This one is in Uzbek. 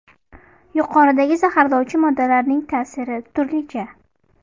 Yuqoridagi zaharlovchi moddalarning ta’siri turlicha.